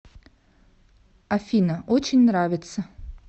афина очень нравится